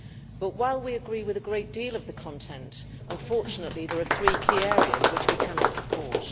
But whilst we agree with a great deal of the content, unfortunately there are three key areas which we cannot support.